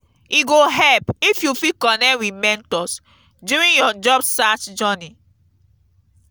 e go help if you fit connect with mentors during your job search journey.